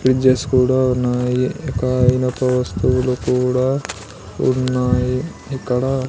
fridges కూడా ఉన్నాయి ఇక వస్తువులు కూడా ఉన్నాయి ఇక్కడ --